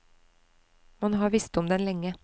Man har visst om den lenge.